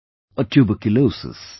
, or tuberculosis